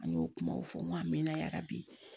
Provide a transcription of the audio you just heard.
An y'o kumaw fɔ n ko a mɛna yarabi